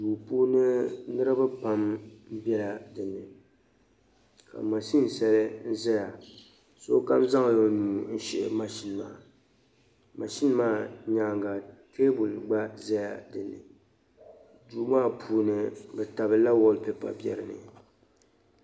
Duu puuni nirba pam bela din ni ka mashini sheli zaya sokam zaŋ la o nuu shihi mashini maa mashini maa nyaaga teebuli gba zala dini duu maa puuni bɛ tabilila waal pepa be dini